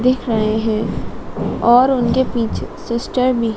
दिख रहे हैं और उनके पीछे सिस्टर भी--